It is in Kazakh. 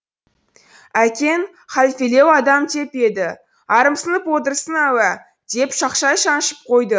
әкең халфелеу адам деп еді арамсынып отырсың ау ә деп шақшай шаншып қойды